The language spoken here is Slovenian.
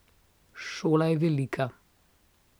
Šola je velika.